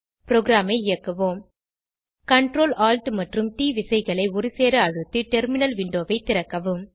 ப்ரோகிராமை இயக்குவோம் Ctrl Alt மற்றும் ட் விசைகளை ஒருசேர அழுத்தி டெர்மினல் விண்டோவை திறக்கவும்